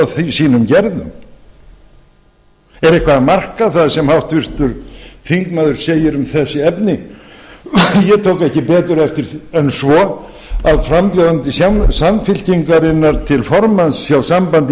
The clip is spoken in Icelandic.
sínum gerðum er eitthvað að marka það sem háttvirtur þingmaður segir um þessi efni ég tók ekki betur eftir en svo að frambjóðandi samfylkingarinnar til formanns hjá sambandi